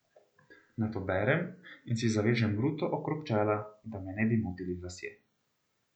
Nato berem in si zavežem ruto okrog čela, da me ne bi motili lasje.